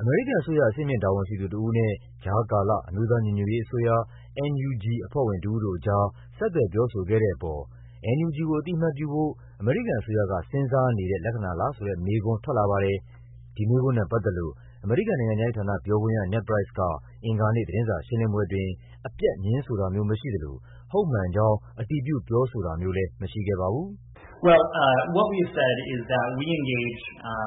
အမေရိကန်အစိုးရ အဆင့်မြင့် တာဝန်ရှိသူတဦးနဲ့ ကြားကာလ အမျိုးသားညီညွတ်ရေးအစိုးရ အဖွဲ့ဝင်တဦးတို့ကြား ဆက်သွယ်ပြောဆိုခဲ့တဲ့အပေါ် NUG ကို အသိအမှတ်ပြုဖို့ အမေရိကန်အစိုးရက စဉ်းစားနေတဲ့လက္ခဏာလားဆိုတဲ့မေးခွန်း ထွက်လာပါတယ်။ ဒီမေးခွန်းနဲ့ပတ်သက်လို့ အမေရိကန်နိုင်ငံခြားရေးဌာန ပြောခွင့်ရ Ned Price က အင်္ဂါနေ့ သတင်းစာရှင်းလင်းပွဲအတွင်း အပြတ် ငြင်းဆိုတာမျိုးမရှိသလို ဟုတ်မှန်ကြောင်း အတည်ပြုပြောဆိုတာမျိုးလည်း မရှိခဲ့ပါဘူး။ "ပ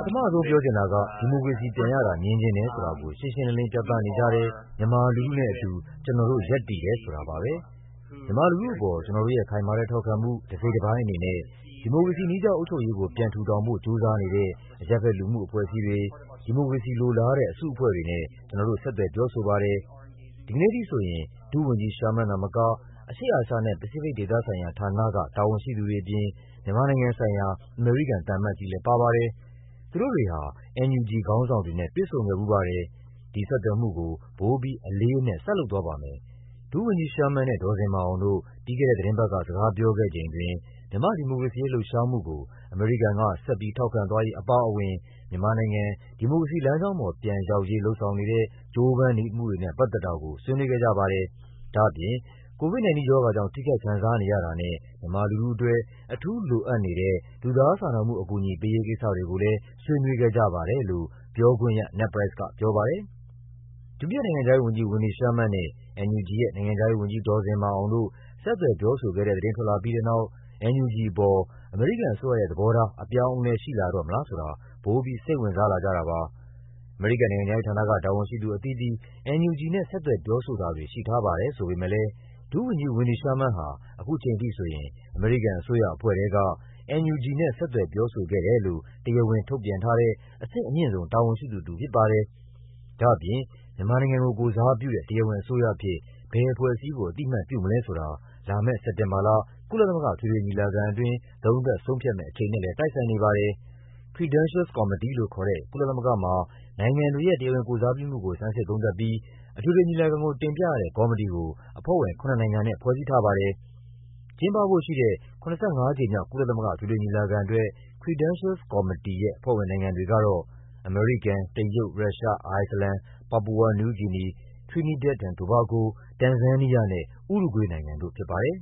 ထမဆုံးပြောချင်တာက ဒီမိုကရေစီပြန်ရတာ မြင်ချင်တယ်ဆိုတာကို ရှင်းရှင်းလင်းလင်း ပြသနေကြတဲ့ မြန်မာလူထုနဲ့အတူ ကျနော်တို့ ရပ်တည်တယ်ဆိုတာပါပဲ။ မြန်မာလူထုအပေါ် ကျနော်တို့ရဲ့ ခိုင်မာတဲ့ထောက်ခံမှု တစိတ်တပိုင်းအနေနဲ့ ဒီမိုကရေစီနည်းကျအုပ်ချုပ်ရေးကို ပြန်ထူထောင်ဖို့ ကြိုးစားနေတဲ့ အရပ်ဘက်လူမှုအဖွဲ့အစည်းတွေ၊ ဒီမိုကရေစီလိုလားတဲ့ အစုအဖွဲ့တွေနဲ့ ကျနော်တို့ ဆက်သွယ်ပြောဆိုပါတယ်။ ဒီကနေ့အထိဆိုရင် ဒုဝန်ကြီး Sherman သာမက အရှေ့အာရှနဲ့ ပစိဖိတ်ဒေသဆိုင်ရာဌာနက တာဝန်ရှိသူတွေအပြင် မြန်မာနိုင်ငံဆိုင်ရာ အမေရိကန်သံအမတ်ကြီးလည်းပါပါတယ်။ သူတို့တွေဟာ NUG ခေါင်းဆောင်တွေနဲ့ တွေ့ဆုံခဲ့ဖူးပါတယ်။ ဒီဆက်သွယ်မှုကို ပိုပြီး အလေးအနက် ဆက်လုပ်သွားပါမယ်။ ဒုဝန်ကြီး Sherman နဲ့ ဒေါ်ဇင်မာအောင်တို့ ပြီးခဲ့တဲ့သီတင်းပတ်က စကားပြောခဲ့ချိန်အတွင်း မြန်မာ့ဒီမိုကရေစီရေး လှုပ်ရှားမှုကို အမေရိကန်က ဆက်ပြီးထောက်ခံသွားရေးအပါအဝင် မြန်မာနိုင်ငံ ဒီမိုကရေစီလမ်းကြောင်းပေါ် ပြန်ရောက်ရေး လုပ်ဆောင်နေဆဲ ကြိုးပမ်းမှုတွေနဲ့ ပတ်သက်တာကို ဆွေးနွေးခဲ့ကြပါတယ်။ ဒါ့အပြင် COVID-19 ရောဂါကြောင့် ထိခိုက်ခံစားနေရတာနဲ့ မြန်မာလူထုအတွက် အထူးလိုအပ်နေတဲ့ လူသားစာနာမှုအကူအညီ ပေးရေးကိစ္စတွေကိုလည်း ဆွေးနွေးခဲ့ကြပါတယ်" လို့ ပြောခွင့်ရ Ned Price ကပြောပါတယ်။ ဒုတိယနိုင်ငံခြားရေးဝန်ကြီး Wendy Sherman နဲ့ NUG ရဲ့ နိုင်ငံခြားရေးဝန်ကြီး ဒေါ်ဇင်မာအောင်တို့ ဆက်သွယ် ပြောဆိုခဲ့တဲ့သတင်း ထွက်လာပြီးတဲ့နောက် NUG အပေါ် အမေရိကန်အစိုးရရဲ့သဘောထား အပြောင်းအလဲ ရှိလာတော့မလားဆိုတာ ပိုပြီး စိတ်ဝင်စားလာကြတာပါ။ အမေရိကန်နိုင်ငံခြားရေးဌာနက တာဝန်ရှိသူအသီးသီး NUG နဲ့ ဆက်သွယ်ပြောဆိုတာတွေ ရှိထားပါတယ်ဆိုပေမယ့်လည်း ဒုဝန်ကြီး Wendy Sherman ဟာ အခုချိန်ထိဆိုရင် အမေရိကန်အစိုးရအဖွဲ့ထဲက NUG နဲ့ ဆက်သွယ်ပြောဆိုခဲ့တယ်လို့ တရားဝင်ထုတ်ပြန်ထားတဲ့ အဆင့်အမြင့်ဆုံး တာဝန်ရှိသူတဦးဖြစ်ပါတယ်။ ဒါ့အပြင် မြန်မာနိုင်ငံကို ကိုယ်စားပြုတဲ့ တရားဝင်အစိုးရအဖြစ် ဘယ်အဖွဲ့အစည်းကို အသိအမှတ်ပြုမလဲဆိုတာ လာမယ့် စက်တင်ဘာလ ကုလသမဂ္ဂ အထွေထွေညီလာခံအတွင်း သုံးသပ်ဆုံးဖြတ်မယ့်အချိန်နဲ့လည်း တိုက်ဆိုင်နေပါတယ်။ Credentials Committee လို့ခေါ်တဲ့ ကုလသမဂ္ဂမှာ နိုင်ငံတွေရဲ့ တရားဝင်ကိုယ်စားပြုမှုကို ဆန်းစစ်သုံးသပ်ပြီး အထွေထွေညီလာခံကို တင်ပြရတဲ့ ကော်မတီကို အဖွဲ့ဝင် ၇ နိုင်ငံနဲ့ ဖွဲ့စည်းထားပါတယ်။ ကျင်းပဖို့ရှိတဲ့ ၇၅ ကြိမ်မြောက် ကုလသမဂ္ဂ အထွေထွေညီလာခံအတွက် Credentials Committee ရဲ့ အဖွဲ့ဝင်နိုင်ငံတွေကတော့ အမေရိကန်၊ တရုတ်၊ ရုရှား၊ အိုက်စ်လန်၊ ပါပူဝါနယူးဂီနီ၊ Trinidad and Tobago ၊ တန်ဇန်းနီးယားနဲ့ ဥရုဂွေးနိုင်ငံတို့ဖြစ်ပါတယ်။